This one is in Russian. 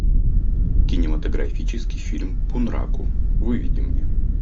кинематографический фильм бунраку выведи мне